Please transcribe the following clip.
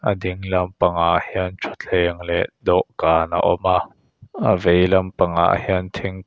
a ding lampangah hian thutthleng leh dawhkan a awm a a vei lampangah hian thing--